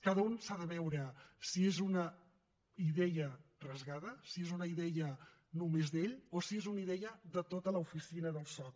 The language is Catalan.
cada una s’ha de veure si és una idea rasgada si és una idea només d’ell o si és una idea de tota l’oficina del soc